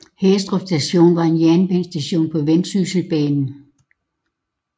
Hæstrup Station var en jernbanestation på Vendsysselbanen